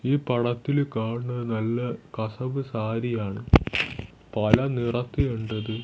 ഈ പടത്തിലെ കാണുന്നത് നല്ല കസവ് സാരിയാണ് പല നിറത്തിലുണ്ട് ഇത്.